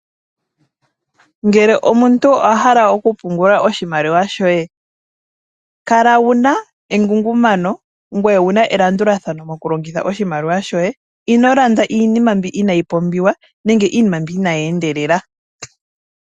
Ngele omuntu owa hala oku pungula oshimaliwa shoye, kala wuna engungumano ngwee wuna elandulathano moku longitha oshimaliwa shoye, ino landa iinima mbi inayi pumbiwa nenge iinima mbi inayi endelela.